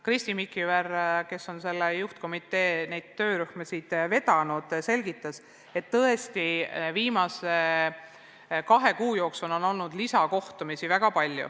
Kristi Mikiver, kes on selle juhtkomitee töörühma vedanud, selgitas, et viimase kahe kuu jooksul on olnud väga palju lisakohtumisi.